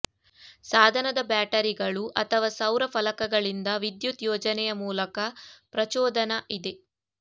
ಸಾಧನದ ಬ್ಯಾಟರಿಗಳು ಅಥವಾ ಸೌರ ಫಲಕಗಳಿಂದ ವಿದ್ಯುತ್ ಯೋಜನೆಯ ಮೂಲಕ ಪ್ರಚೋದನಾ ಇದೆ